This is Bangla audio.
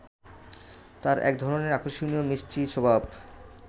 তাঁর একধরনের আকর্ষণীয় মিষ্টি স্বভাব